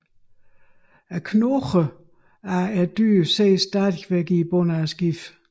Knoglerne af dyrene ses stadig i bunden af skibet